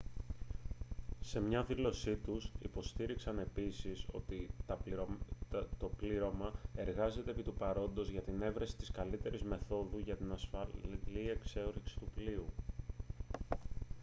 σε μια δήλωσή τους υποστήριξαν επίσης ότι «το πλήρωμα εργάζεται επί του παρόντος για την εύρεση της καλύτερης μεθόδου για την ασφαλή εξόρυξη του πλοίου»